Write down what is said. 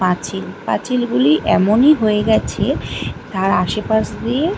পাঁচিল পাঁচিল গুলি এমনই হয়ে গেছে তার আশেপাশ দিয়ে --